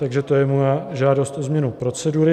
Takže to je moje žádost o změnu procedury.